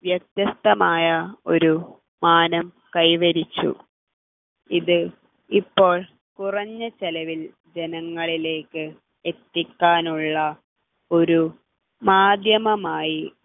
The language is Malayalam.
വ്യത്യസ്തമായ ഒരു മാനം കൈവരിച്ചു ഇത് ഇപ്പോൾ കുറഞ്ഞ ചെലവിൽ ജനങ്ങളിലേക്ക് എത്തിക്കാനുള്ള ഒരു മാധ്യമമായി